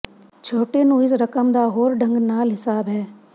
ਛੋਟੇ ਨੂੰ ਇਸ ਰਕਮ ਦਾ ਹੋਰ ਢੰਗ ਨਾਲ ਹਿਸਾਬ ਹੈ